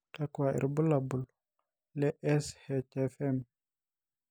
kakua irbulabol le SHFM?